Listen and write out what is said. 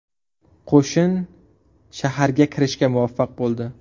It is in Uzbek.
Qo‘shin shaharga kirishga muvaffaq bo‘ldi.